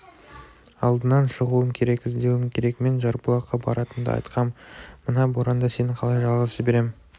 алдынан шығуым керек іздеуім керек мен жарбұлаққа баратынымды айтқам мына боранда сені қалай жалғыз жіберем